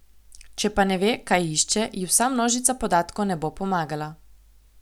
Če pa ne ve, kaj išče, ji vsa množica podatkov ne bo pomagala.